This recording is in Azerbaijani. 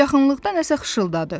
Yaxınlıqda nəsə xışırdadı.